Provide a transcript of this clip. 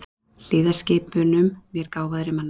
Hlýða skipunum mér gáfaðri manna.